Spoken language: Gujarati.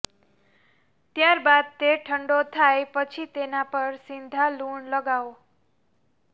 ત્યારબાદ તે ઠંડો થાય પછી તેના પર સિંધા લુણ લગાવો